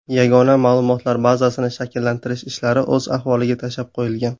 Yagona ma’lumotlar bazasini shakllantirish ishlari o‘z ahvoliga tashlab qo‘yilgan.